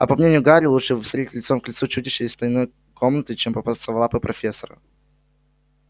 а по мнению гарри лучше встретить лицом к лицу чудище из тайной комнаты чем попасться в лапы профессора